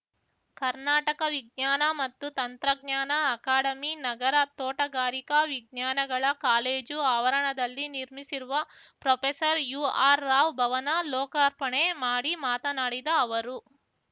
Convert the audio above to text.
ಕರ್ನಾಟಕ ವಿಜ್ಞಾನ ಮತ್ತು ತಂತ್ರಜ್ಞಾನ ಅಕಾಡಮಿ ನಗರದ ತೋಟಗಾರಿಕಾ ವಿಜ್ಞಾನಗಳ ಕಾಲೇಜು ಆವರಣದಲ್ಲಿ ನಿರ್ಮಿಸಿರುವ ಪ್ರೊಫೆಸರ್ಯುಆರ್‌ರಾವ್‌ ಭವನ ಲೋಕಾರ್ಪಣೆ ಮಾಡಿ ಮಾತನಾಡಿದ ಅವರು